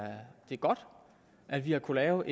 godt at vi har kunnet lave